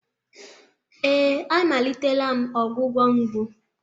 Ee, amalitela m ọgwụgwọ mgbu.